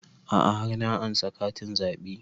A'a har na ansa katin zaɓe